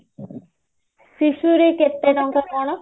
ଶିଶୁ ରେ କେତେ ଟଙ୍କା କଣ